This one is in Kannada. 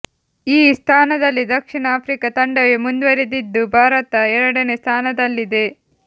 ಈ ಸ್ಥಾನದಲ್ಲಿ ದಕ್ಷಿಣ ಆಫ್ರಿಕಾ ತಂಡವೇ ಮುಂದುವರಿದಿದ್ದು ಭಾರತ ಎರಡನೇ ಸ್ಥಾನದಲ್ಲಿದೆ